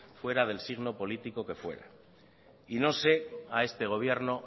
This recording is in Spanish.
fuera del signo político que fuera y no sé a este gobierno